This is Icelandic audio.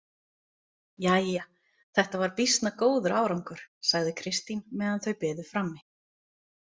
Jæja, þetta var býsna góður árangur, sagði Kristín meðan þau biðu frammi.